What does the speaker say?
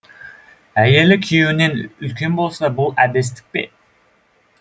әйелі күйеуінен үлкен болса бұл әбестік пе